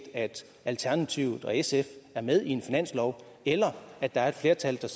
at alternativet og sf er med i en finanslov eller at der er et flertal